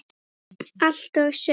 Allt og sumt.